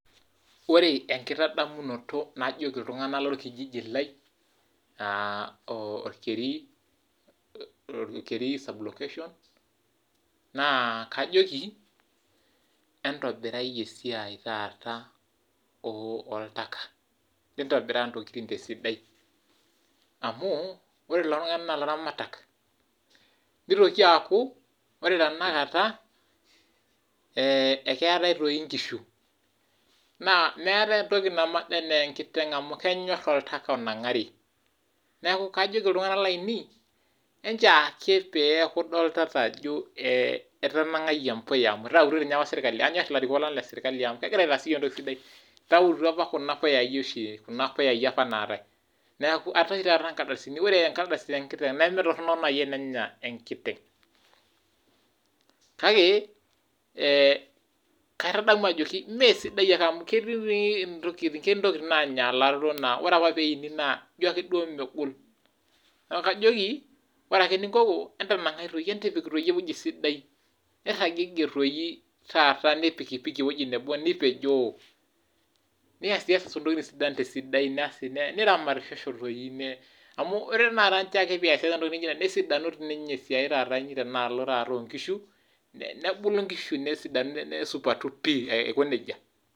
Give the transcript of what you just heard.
Ore enkitandamunoto najoki iltunganak lorkijiji lai ,orkeri sub location naa kajoki entobirai esiai taata oltaka. nitobiraa ntokiting tesidai amu ore kulo tunganak naa laramatak nitoki aaku ore tenakata eketae doi inkishu naa meetae entoki naboda anaa enkiteng amu kenyor oltaka onangari neeku kajoki iltunganak lainei, enchoo ekee pee eku idolitata ajo itananagaitei embuya amu enyor ninye ilarikok lang lesirkaili amu kegira aitass yiok entoki sidai it auto Kuna puyai oshi apa naatae neeku etaa oshi taata inkardasini ,ore enkardasi tenkiteng nemetoronok naji tenenya enkiteng kake keitanamu ajoki mee sidai naaji amu ketii apake ntokiting naanyalaro naa ore apake pee eini na ijo ake duo megol neeku kajoki ore eninkoko entanangai doi entipik eweji sidai ,nipikipiki eweji nebo nipejoo niasiasa ntoking tesidai asi niramatishosho doi amu ore ake pee iasiasa entoki naijo ena nesidanu esiai inyii taata tenalo onkishu ,nebulu nkishu nesidanu nesupatu pi Aiko nejia.